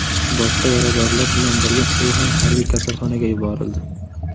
Boshqa yaradorlar bilan birga u ham harbiy kasalxonaga yuborildi.